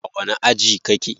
A wani aji kake?